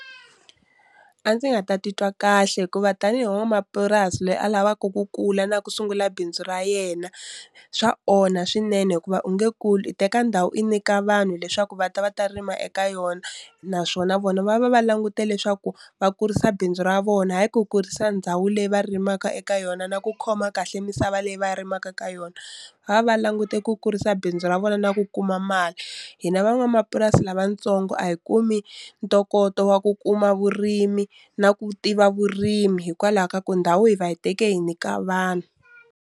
A ndzi nga ta titwa kahle hikuva tanihi n'wamapurasi loyi a lavaku ku kula na ku sungula bindzu ra yena, swa onha swinene hikuva u nge kuli i teka ndhawu i nyika vanhu leswaku va ta va ta rima eka yona naswona vona va va va langute leswaku va kurisa bindzu ra vona hayi ku kurisa ndhawu leyi va rimaka eka yona na ku khoma kahle misava leyi va rimaka ka yona, va va va langute ku kurisa bindzu ra vona na ku kuma mali hina van'wamapurasi lavatsongo a hi kumi ntokoto wa ku kuma vurimi na ku tiva vurimi hikwalaho ka ku ndhawu hi va hi teke hi nyika vanhu.